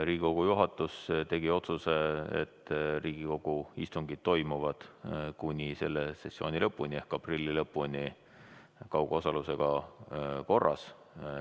Riigikogu juhatus tegi otsuse, et Riigikogu istungid toimuvad kuni selle sessiooni lõpuni ehk aprilli lõpuni kaugosaluse korras.